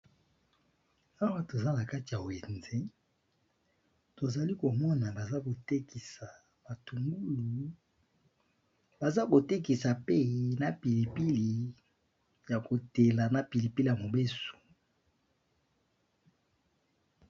Awa toza nakati ya wenze tozalikomona bazakotekisa matungulu bazakotekisapee ba pilipili yamobesu nayakobela